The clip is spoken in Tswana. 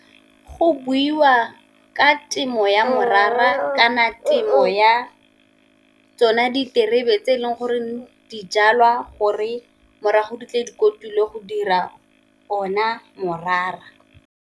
Go buiwa ka temo ya morara kana temo ya tsona diterebe, tse e leng gore dijalwa gore morago di tle dikotsi le go dira ona morara.